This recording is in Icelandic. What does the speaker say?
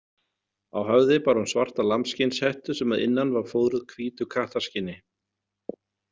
Á höfði bar hún svarta lambsskinnshettu sem að innan var fóðruð hvítu kattarskinni.